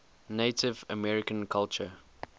native american culture